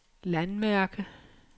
landmærke